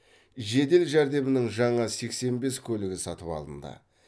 жедел жәрдемнің жаңа сексен бес көлігі сатып алынды